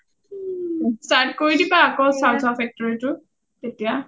start কৰি দিবা আকৌ chow chow factory টো এতিয়া